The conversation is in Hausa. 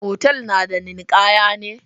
Otal na da ninkaya ne?